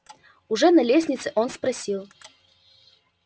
уже на лестнице он спросил